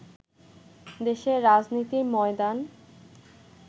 দেশের রাজনীতির ময়দান